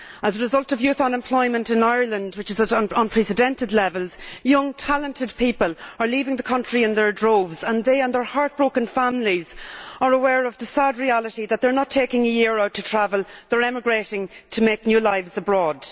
As a result of youth unemployment in Ireland, which is at unprecedented levels, young talented people are leaving the country in droves, and they and their heartbroken families are aware of the reality that they are not taking a year out to travel, but are in fact emigrating to make new lives abroad.